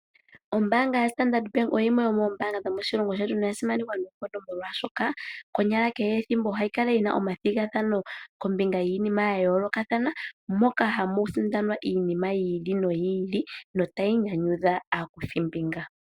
Ombaanga yaStandard Bank oyo yimwe yomoombaanga dhomoshilongo shetu noya simanekwa noonkondo, molwashoka konyala kehe ethimbo ohayi kala yi na omathigathano kombinga yiinima ya yoolokathana, moka hamu sindanwa iinima yi ili noyi ili notayi nyanyudha aakuthimbinga.